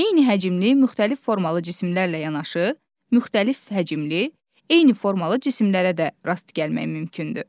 Eyni həcmli, müxtəlif formalı cisimlərlə yanaşı, müxtəlif həcmli, eyni formalı cisimlərə də rast gəlmək mümkündür.